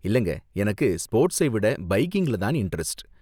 இல்லங்க, எனக்கு ஸ்போர்ட்ஸை விட பைக்கிங்ல தான் இண்டரெஸ்ட்.